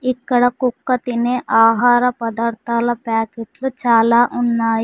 ఇక్కడ కుక్క తినే ఆహార పదార్థాల ప్యాకెట్లు చాలా ఉన్నాయి.